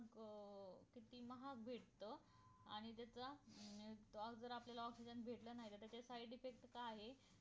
अं किती महाग भेटत आणि त्याच अं आज जर आपल्याला OXYGEN भेटल नाहीतर तर त्याचा side effect काय आहे